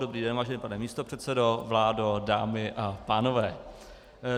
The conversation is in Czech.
Dobrý den, vážený pane místopředsedo, vládo, dámy a pánové.